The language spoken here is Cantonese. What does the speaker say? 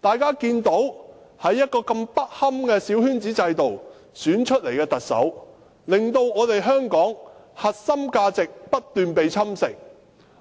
大家看到經如此不堪的小圈子制度選出來的特首，令香港的核心價值不斷被侵蝕，